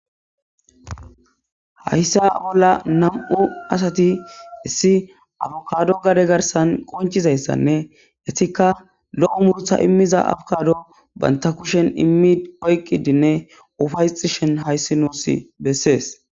Hayssa bolla nam'u asati issi afukado gade garsan qoncizayssanne hessika lo7o muuruta immiza afokado banta kushen immidi oyqidinne ufaysishin hayssi nuusi bessees.